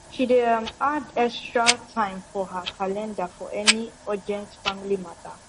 she dey um add extra time for her calendar for any urgent family matter